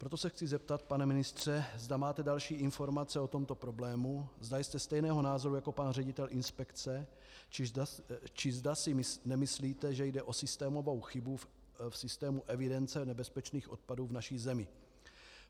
Proto se chci zeptat, pane ministře, zda máte další informace o tomto problému, zda jste stejného názoru jako pan ředitel inspekce, či zda si nemyslíte, že jde o systémovou chybu v systému evidence nebezpečných odpadů v naší zemi.